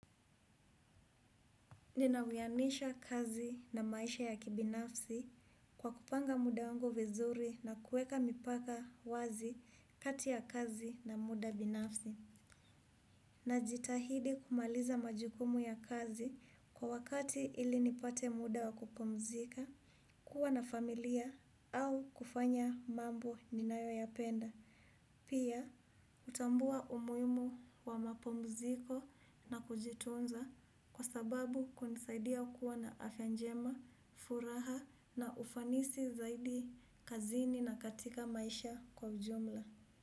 Nina wiyanisha kazi na maisha ya kibinafsi kwa kupanga muda wangu vizuri na kueka mipaka wazi kati ya kazi na muda binafsi. Najitahidi kumaliza majukumu ya kazi kwa wakati ili nipate muda wakupumzika, kuwa na familia au kufanya mambo ninayoyapenda. Pia, hutambua umuhimu wa mapumziko na kujitunza kwa sababu kunisaidia kuwa na afya njema, furaha na ufanisi zaidi kazini na katika maisha kwa ujumla.